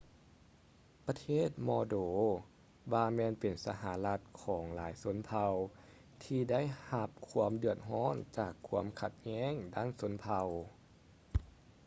ປະເທດມອລໂດວາແມ່ນເປັນສາທາລະນະລັດຂອງຫຼາຍຊົນເຜົ່າທີ່ໄດ້ຮັບຄວາມເດືອດຮ້ອນຈາກຄວາມຂັດແຍ່ງດ້ານຊົນເຜົ່າ